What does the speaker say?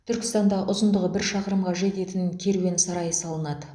түркістанда ұзындығы бір шақырымға жететін керуен сарай салынады